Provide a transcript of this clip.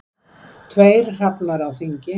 Tveir hrafnar á þingi.